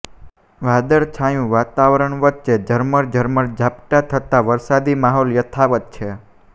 વાદળછાયુ વાતાવરણ વચ્ચે ઝરમર ઝરમર ઝાંપટા થતા વરસાદી માહોલ યથાવત છે